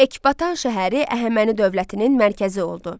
Ekbatan şəhəri Əhəməni dövlətinin mərkəzi oldu.